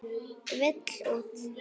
Vill út.